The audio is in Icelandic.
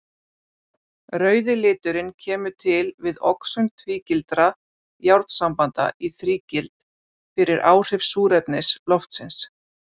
Rauði liturinn kemur til við oxun tvígildra járnsambanda í þrígild fyrir áhrif súrefnis loftsins.